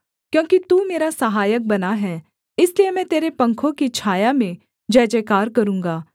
क्योंकि तू मेरा सहायक बना है इसलिए मैं तेरे पंखों की छाया में जयजयकार करूँगा